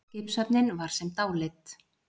Skipshöfnin var sem dáleidd.